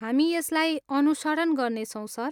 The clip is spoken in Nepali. हामी यसलाई अनुसरण गर्नेछौँ, सर।